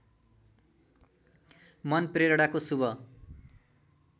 मन प्रेरणाको शुभ